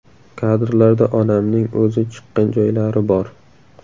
Kadrlarda onamning o‘zi chiqqan joylari bor.